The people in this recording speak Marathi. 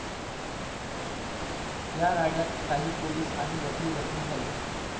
या राड्यात काही पोलीस आणि वकील जखमी झाले.